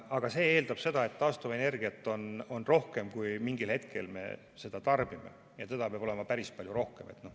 Aga see eeldab seda, et taastuvenergiat on rohkem, kui me mingil hetkel seda tarbime, ja seda peab olema päris palju rohkem.